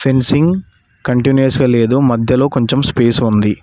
Fencing continues లేదో మధ్యలో కొంచెం స్పేస్ ఉంది.